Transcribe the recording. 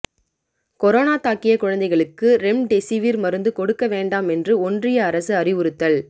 corona தாக்கிய குழந்தைகளுக்கு remdesivir மருந்து கொடுக்க வேண்டாம் என்று ஒன்றிய அரசு அறிவுறுத்தல்